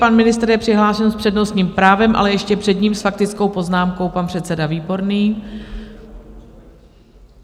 Pan ministr je přihlášen s přednostním právem, ale ještě před ním s faktickou poznámkou pan předseda Výborný.